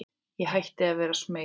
Ég hætti að vera smeyk.